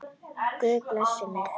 Guð blessi mig.